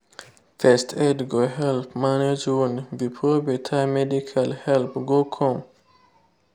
first aid go help manage wound before better medical help go come.